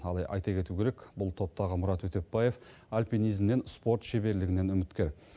ал айта кету керек бұл топтағы мұрат өтепбаев альпинизмнен спорт шеберлігінен үміткер